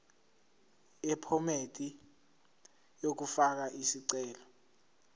yephomedi yokufaka isicelo